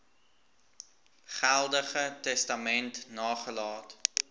geldige testament nagelaat